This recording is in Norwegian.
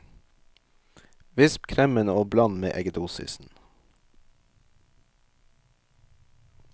Visp kremen og bland med eggedosisen.